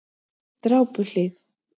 Drápuhlíð